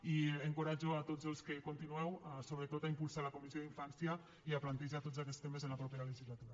i encoratjo tots els que continueu sobretot a impulsar la comissió d’infància i a plantejar tots aquests temes en la propera legislatura